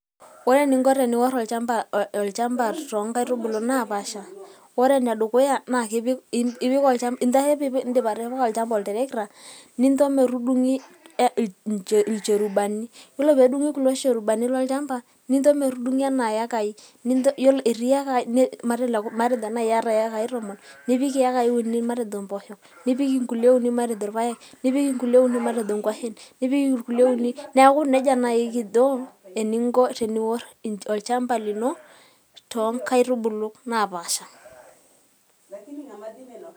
Ore eningo teniworr olchamba toonkaitubulu naapaasha, ore ene dukuya naa incho ake pee iindip atipika olchamba otarakita, nincho metudung'i ilcherubani yiolo pee edungi kulo cherubani lolchamba ninncho metudung'i enaa iakai, matejo nai iata iakai tomon nipik iakai uni matejo impoosho, nipik inkulie uni matejo irpaek, nipik inkulie uni matejo inkuashen neeku neija naai kijo eninko teniworr olchmaba lino toonkaitubuku naapaasha.